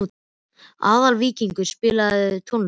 Aðalvíkingur, spilaðu tónlist.